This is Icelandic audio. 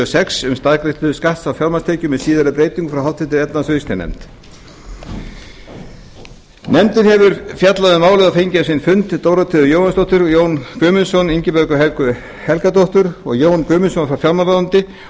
sex um staðgreiðslu skatta af fjármagnstekjum með síðari breytingum frá háttvirtri efnahags og viðskiptanefnd nefndin hefur fjallað um málið og fengið á sinn fund dórotheu jóhannsdóttur jón guðmundsson ingibjörgu helgu helgadóttur og jón guðmundsson frá fjármálaráðuneyti